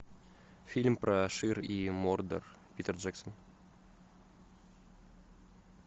фильм про шир и мордор питер джексон